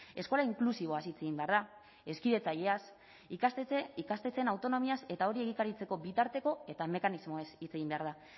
eskola inklusiboaz hitz egin behar da hezkidetzaileaz ikastetxeen autonomiaz eta hori egikaritzeko bitarteko eta mekanismoez hitz egin behar da